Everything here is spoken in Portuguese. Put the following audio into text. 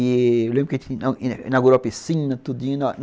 Eu lembro inaugurou a piscina, tudinho.